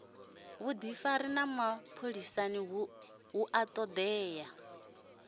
vhudifari ha mapholisani hu todea